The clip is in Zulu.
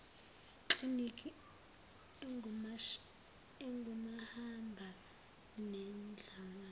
kliniki engumahamba nendlwana